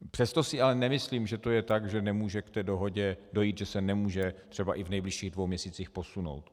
Přesto si ale nemyslím, že to je tak, že nemůže k té dohodě dojít, že se nemůže třeba i v nejbližších dvou měsících posunout.